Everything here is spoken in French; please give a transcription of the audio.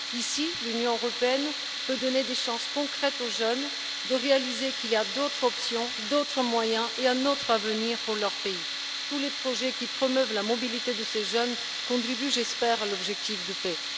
Ici, l'Union européenne peut donner des chances concrètes aux jeunes de comprendre qu'il existe d'autres options, d'autres moyens et un autre avenir pour leur pays. Tous les projets qui promeuvent la mobilité de ces jeunes contribuent je l'espère à l'objectif de paix.